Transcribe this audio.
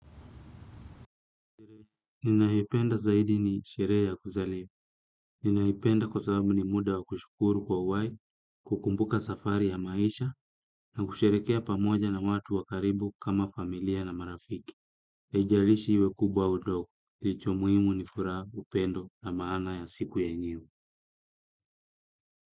Ninayoipenda zaidi ni sherehe ya kuzaliwa. Ninaipenda kwa sababu ni muda wa kushukuru kwa uhai, kukumbuka safari ya maisha na kusherehekea pamoja na watu wa karibu kama familia na marafiki. Haijalishi iwe kubwa ndogo. Kilicho muhimu ni furaha upendo na maana ya siku yenyewe.